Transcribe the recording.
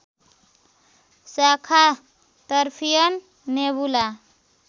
शाखा तर्फियन नेबुला